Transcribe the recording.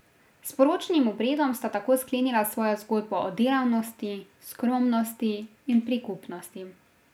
S poročnim obredom sta tako sklenila svojo zgodbo o delavnosti, skromnosti in prikupnosti.